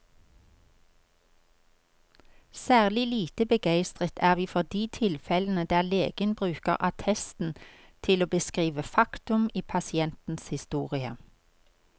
Særlig lite begeistret er vi for de tilfellene der legen bruker attesten til å beskrive faktum i pasientens historie.